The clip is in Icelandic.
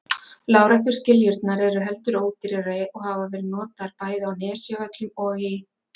Láréttu skiljurnar eru heldur ódýrari og hafa verið notaðar bæði á Nesjavöllum og í